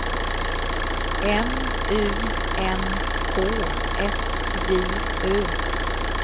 M U N K S J Ö